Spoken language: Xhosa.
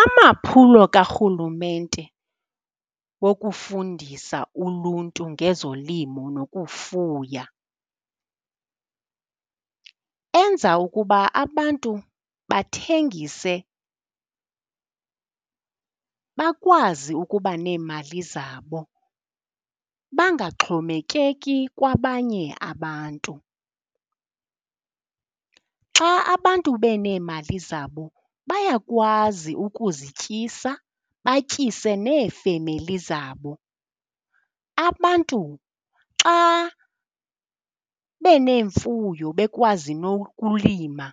Amaphulo karhulumente wokufundisa uluntu ngezolimo nokufuya enza ukuba abantu bathengise, bakwazi ukuba neemali zabo bangaxhomekeki kwabanye abantu. Xa abantu beneemali zabo bayakwazi ukuzityisa batyise neefemeli zabo. Abantu xa beneemfuyo bekwazi nokulima